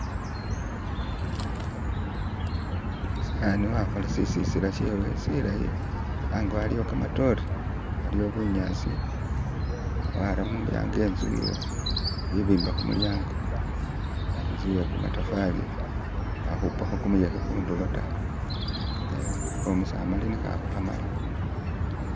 umusaani wakhola sisisila shewe silayi, ango aliwo kamatore aliwo bunyaasi wara mulyaango inzu ye ibimba khu mulyaango. Inzu yekamatafali baakhupaho kumuyekhe khundulo ta, kho'omusamali nikhaakho khamala.